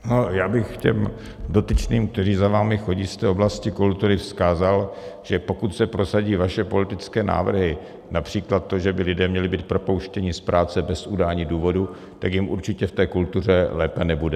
Já bych těm dotyčným, kteří za vámi chodí z té oblasti kultury, vzkázal, že pokud se prosadí vaše politické návrhy, například to, že by lidé měli být propouštěni z práce bez udání důvodu, tak jim určitě v té kultuře lépe nebude.